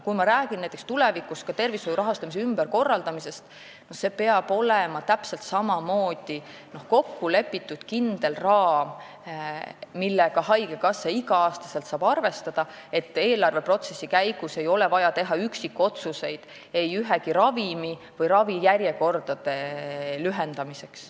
Kui ma räägin näiteks tulevikus tervishoiu rahastamise ümberkorraldamisest, siis peab täpselt samamoodi olema kokku lepitud kindel raam, millega haigekassa iga aasta saab arvestada, et eelarveprotsessi käigus ei oleks vaja teha üksikotsuseid mõne ravimi ostmiseks või ravijärjekordade lühendamiseks.